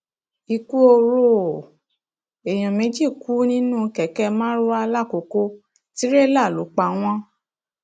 ikú oró o èèyàn méjì kú nínú kẹkẹ marwa lọkọkọ tirẹla ló pa wọn